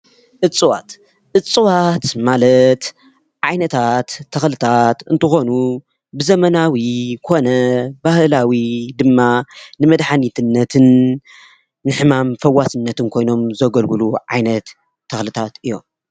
እፅዋት፡- እፅዋት ማለት ዓይነታት ተክልታት እንትኮኑ ብዘመናዊ ኮነ ባህላዊ ድማ ንመድሓኒትነትን ንሕማም ፈዋሲነትን ኮይኖም ዘገልግሉ ዓይነት ተክልታት እዮም፡፡